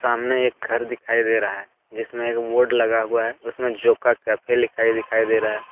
सामने एक घर दिखाई दे रहा है जिसमें एक बोर्ड लगा हुआ है उसमें जोका कैफे लिखाई दिखाई दे रहा है।